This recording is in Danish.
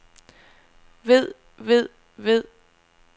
ved ved ved